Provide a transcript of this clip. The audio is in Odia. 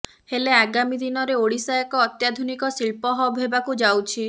ହେଲେ ଆଗାମୀ ଦିନରେ ଓଡ଼ିଶା ଏକ ଅତ୍ୟାଧୁନିକ ଶିଳ୍ପ ହବ୍ ହେବାକୁ ଯାଉଛି